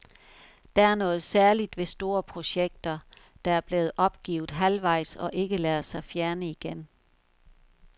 Der er noget særligt ved store projekter, der er blevet opgivet halvvejs og ikke lader sig fjerne igen.